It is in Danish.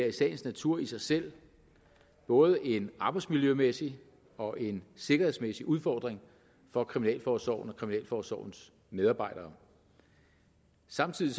i sagens natur i sig selv både en arbejdsmiljømæssig og en sikkerhedsmæssig udfordring for kriminalforsorgen og kriminalforsorgens medarbejdere samtidig